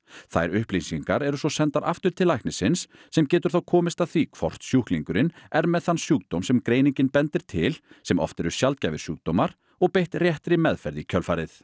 þær upplýsingar eru svo sendar aftur til læknisins sem getur þá komist að því hvort sjúklingurinn er með þann sjúkdóm sem greiningin bendir til sem oft eru sjaldgæfir sjúkdómar og beitt réttri meðferð í kjölfarið